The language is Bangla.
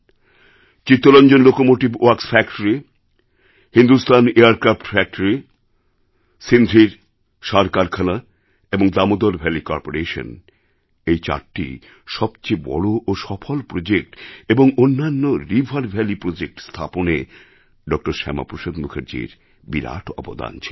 Chittaranjan locomotive works factory Hindustan aircraft factory সিন্ধ্রির সার কারখানা এবং দামোদর ভ্যালি করপোরেশান এই চারটি সবচেয়ে বড় ও সফল প্রজেক্ট এবং অন্যান্য রিভার ভ্যালি প্রজেক্ট স্থাপনে ড শ্যামাপ্রসাদ মুখার্জির বিরাট অবদান ছিল